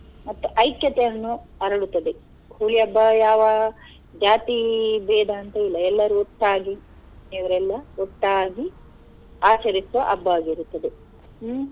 ಮತ್ತು ಐಕ್ಯತೆಯನ್ನು ಅರಳುತ್ತದೆ Holi ಹಬ್ಬ ಯಾವ ಜಾತಿ ಬೇಧ ಅಂತ ಇಲ್ಲ ಎಲ್ಲರು ಒಟ್ಟಾಗಿ ಇವರೆಲ್ಲ ಒಟ್ಟಾಗಿ ಆಚರಿಸುವ ಹಬ್ಬವಾಗಿರುತ್ತದೆ ಹ್ಮ್.